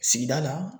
Sigida la